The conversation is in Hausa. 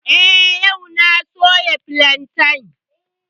Eh, yau na soya filantan